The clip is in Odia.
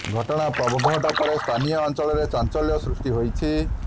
ଘଟଣା ପ୍ରଘଟ ପରେ ସ୍ଥାନୀୟ ଅଞ୍ଚଳରେ ଚାଞ୍ଚଲ୍ୟ ସୃଷ୍ଟି ହୋଇଛି